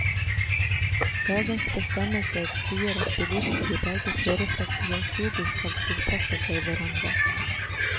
Dagens bestemmelser sier at bilister i begge kjørefelt gjensidig skal tilpasse seg hverandre.